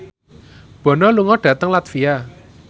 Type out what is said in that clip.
Bono lunga dhateng latvia